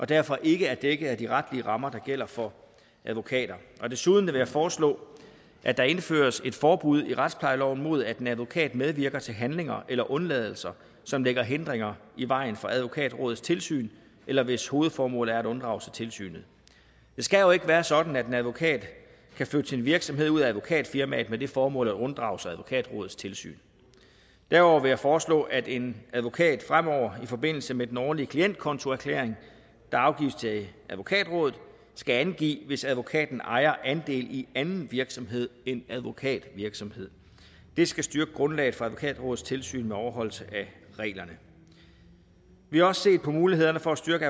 derfor ikke er dækket af de retlige rammer der gælder for advokater desuden vil jeg foreslå at der indføres et forbud i retsplejeloven mod at en advokat medvirker til handlinger eller undladelser som lægger hindringer i vejen for advokatrådets tilsyn eller hvis hovedformål er at unddrage sig tilsynet det skal jo ikke være sådan at en advokat kan flytte sin virksomhed ud af advokatfirmaet med det formål at unddrage sig advokatrådets tilsyn derudover vil jeg foreslå at en advokat fremover i forbindelse med den årlige klientkontoerklæring der afgives til advokatrådet skal angive hvis advokaten ejer andel i anden virksomhed end advokatvirksomhed det skal styrke grundlaget for advokatrådets tilsyn med overholdelse af reglerne vi har også set på mulighederne for at styrke